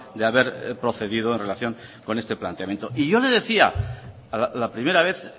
de haber procedido en relación con este planteamiento y yo le decía la primera vez